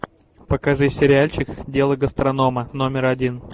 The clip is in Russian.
покажи сериальчик дело гастронома номер один